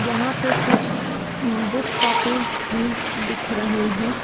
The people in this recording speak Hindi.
यहां पे कुछ बुक कॉपीज भी दिख रही हैं।